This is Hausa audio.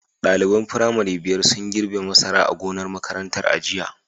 Daliban firamare biyar sun girbe masara a gonar makarantar a jiya.